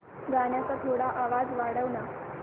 गाण्याचा थोडा आवाज वाढव ना